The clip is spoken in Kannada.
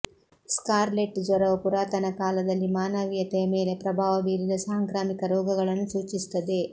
ಸ್ಕಾರ್ಲೆಟ್ ಜ್ವರವು ಪುರಾತನ ಕಾಲದಲ್ಲಿ ಮಾನವೀಯತೆಯ ಮೇಲೆ ಪ್ರಭಾವ ಬೀರಿದ ಸಾಂಕ್ರಾಮಿಕ ರೋಗಗಳನ್ನು ಸೂಚಿಸುತ್ತದೆ